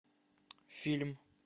фильм